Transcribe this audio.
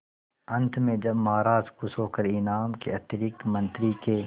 अंत में जब महाराज खुश होकर इनाम के अतिरिक्त मंत्री के